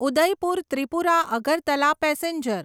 Udaipur Tripura Agartala passenger